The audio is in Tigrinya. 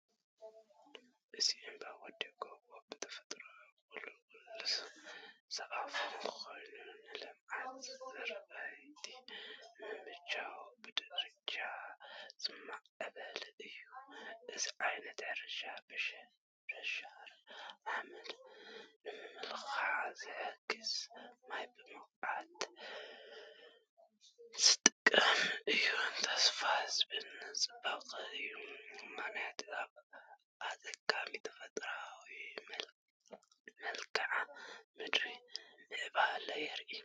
እቲ እምባ ወይ ጎቦ ብተፈጥሮኡ ቁልቁል ዝኣፉ ኮይኑ ንልምዓት ዝራእቲ ንምምችቻው ብደረጃታት ዝማዕበለ እዩ። እዚ ዓይነት ሕርሻ ምሽርሻር ሓመድ ንምክልኻል ዝሕግዝን ማይ ብብቕዓት ዝጥቀምን እዩ። ተስፋ ዝህብን ጽብቕትን እዩ፣ ምኽንያቱ ኣብ ኣጸጋሚ ተፈጥሮኣዊ መልክዓ ምድሪ ምዕባለን የርኢ፡፡